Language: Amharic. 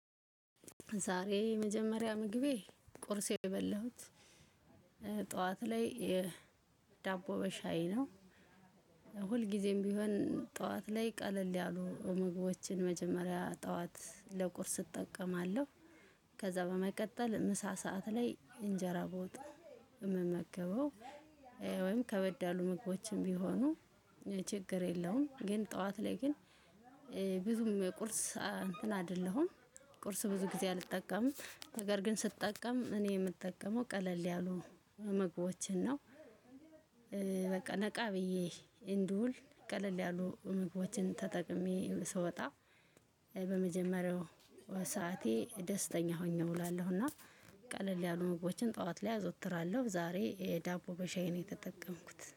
ዛሬ የመጀመሪያ ምግቤ ቁርሴን የበላሁት ጠዋት ላይ ዳቦ በሻይ ነው። ሁልጊዜም ቢሆን ጠዋት ላይ ቀለል ያሉ ምግቦችን መጀመሪያ ጠዋት ለቁርስ እጠቀማለሁ። ከዛ በመቀጠል ምሳ ሰዓት ላይ እንጀራ በወጥ እምመገበው። ወይም ከበድ ያሉ ምግቦችም ቢሆኑ ችግር የለውም። ግን ጠዋት ላይ ግን ብዙም የቁርስ እንትን አደለሁም። ቁርስ ብዙ ጊዜ አልጠቀምም ነገር ግን ስጠቀም እኔ ምጠቀመው ቀለል ያሉ ምግቦችን ነው። በቃ ነቃ ብዬ እንድውል ቀለል ያሉ ምግቦችን ተጠቅሜ ስወጣ በመጀመሪያው ሰዓቴ ደስተኛ ሆኜ እውላለሁ። እና ቀለል ያሉ ምግቦችን ጠዋት ላይ አዘወትራለሁ። ዛሬ ዳቦ በሻይ ነው የተጠቀምኩት